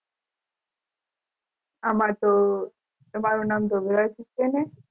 આમતો તમારું નામ છેને.